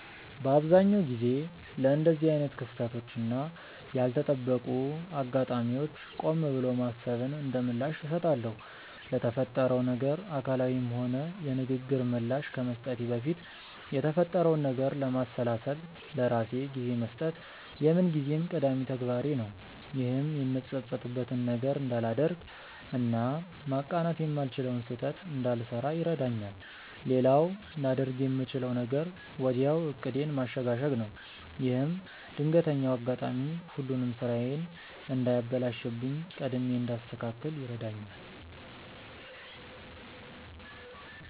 በአብዛኛው ጊዜ ለእንደዚህ አይነት ክስተቶች እና ያልተጠበቁ አጋጣሚዎች ቆም ብሎ ማሰብን እንደምላሽ እሰጣለሁ። ለተፈጠረው ነገር አካላዊም ሆነ የንግግር ምላሽ ከመስጠቴ በፊት የተፈጠረውን ነገር ለማሰላሰል ለራሴ ጊዜ መስጠት የምንጊዜም ቀዳሚ ተግባሬ ነው። ይህም የምጸጸትበትን ነገር እንዳላደርግ እና ማቃናት የማልችለውን ስህተት እንዳልሰራ ይረዳኛል። ሌላው ላደርግ የምችለው ነገር ወዲያው ዕቅዴን ማሸጋሸግ ነው። ይህም ድንገተኛው አጋጣሚ ሁሉንም ስራዬን እንዳያበላሽብኝ ቀድሜ እንዳስተካክል ይረዳኛል።